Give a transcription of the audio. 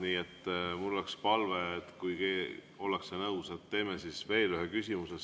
Nii et mul on palve, et kui ollakse nõus, siis teeme veel ühe küsimuse.